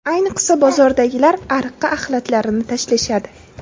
Ayniqsa, bozordagilar ariqqa axlatlarini tashlashadi.